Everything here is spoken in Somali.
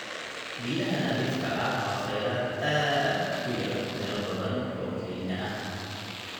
Biyaha nadiifka ah waa kheyraad aad u yar meelo badan oo Kenya ah.